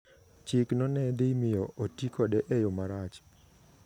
Chikno ne dhi miyo oti kode e yo marach.